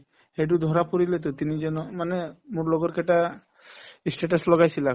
সেইটো ধৰা পৰিলেতো তিনিজন মানে মোৰ লগৰ কেইটা ই status লগাইছিলে